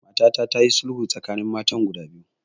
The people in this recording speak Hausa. Matata ta yi sulhu tsakanin matan guda biyu